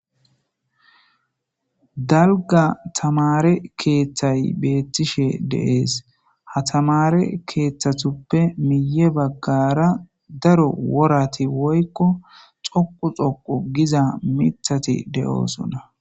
dalga tamare keeththay beettishe deees ha tamare keeththatuppe miye baggara daro worati woykko xoqu xoqo giza mithati de7oosona